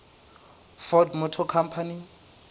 ford motor company